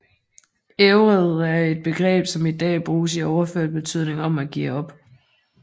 Ævred er et begreb som i dag bruges i overført betydning om at give op